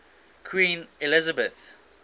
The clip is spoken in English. queen elizabeth